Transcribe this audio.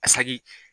A saki